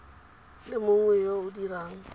le mongwe yo o dirang